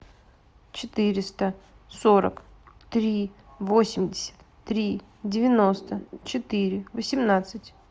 четыреста сорок три восемьдесят три девяносто четыре восемнадцать